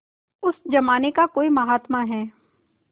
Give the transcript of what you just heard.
उस जमाने का कोई महात्मा है